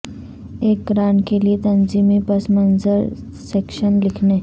ایک گرانٹ کے لئے تنظیمی پس منظر سیکشن لکھنے